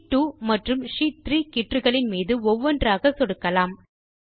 sheet 2 மற்றும் sheet 3 கீற்றுகளின் மீது ஒவ்வொன்றாக சொடுக்கலாம்